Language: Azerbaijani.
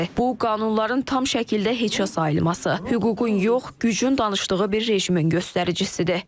Bu, qanunların tam şəkildə heçə sayılması, hüququn yox, gücün danışdığı bir rejimin göstəricisidir.